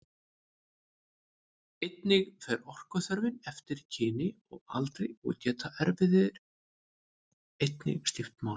Einnig fer orkuþörfin eftir kyni og aldri og geta erfðir einnig skipt máli.